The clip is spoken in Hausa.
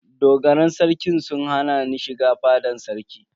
Dogaran Sarkin sun hana ni shiga fadan sarki.